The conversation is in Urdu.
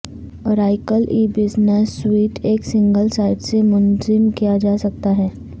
اوریکل ای بزنس سویٹ ایک سنگل سائٹ سے منظم کیا جا سکتا ہے